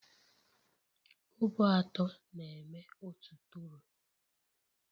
Kobo atọ na-eme otu tọrọ